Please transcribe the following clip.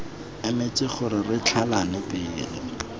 emetse gore re tlhalane pele